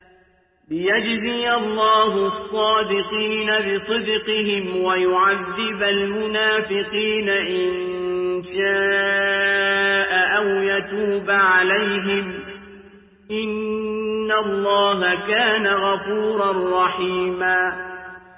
لِّيَجْزِيَ اللَّهُ الصَّادِقِينَ بِصِدْقِهِمْ وَيُعَذِّبَ الْمُنَافِقِينَ إِن شَاءَ أَوْ يَتُوبَ عَلَيْهِمْ ۚ إِنَّ اللَّهَ كَانَ غَفُورًا رَّحِيمًا